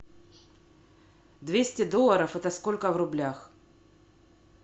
двести долларов это сколько в рублях